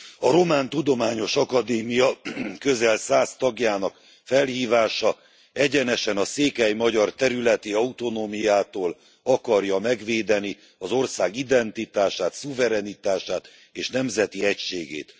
A Román Tudományos Akadémia közel száz tagjának felhívása egyenesen a székely magyar területi autonómiától akarja megvédeni az ország identitását, szuverenitását és nemzeti egységét.